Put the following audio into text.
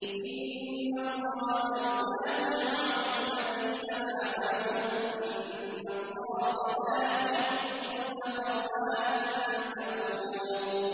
۞ إِنَّ اللَّهَ يُدَافِعُ عَنِ الَّذِينَ آمَنُوا ۗ إِنَّ اللَّهَ لَا يُحِبُّ كُلَّ خَوَّانٍ كَفُورٍ